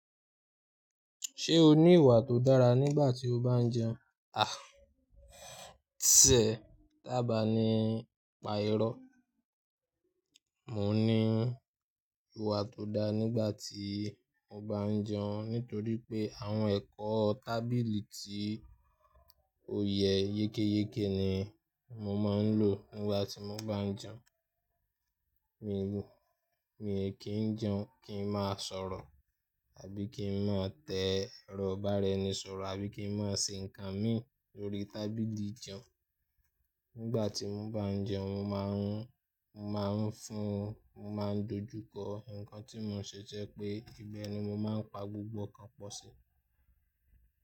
Ṣé o ní ìwà tó dára nígbà tí o bá ń jẹun? À, ṣé, taba ni pa irọ́? Mo ní ìwà tó daa nígbà tí mo bá ń jẹun nítorí pé àwọn ẹ̀kọ́ tábìlì tí ó yẹ yekéyeké ni mo máa ń lò nígbà tí mo bá ń jẹun. Mi ò kí ń jẹun kí ń máa sọ̀rọ̀, àbí kí ń má tẹ́ ẹrọ ìbáraenisọ̀rọ̀, àbí kí ń máa ṣe nǹkan mí lórí tábìlì ìjẹun. Nígbà tí mo bá ń jẹun, mo máa ń fún, mo máa ń dojú kọ nǹkan tí mo ṣẹ tò je pé, ibẹ̀ ni mo máa ń pa gbogbo nǹkan pọ̀ sí.